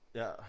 Ja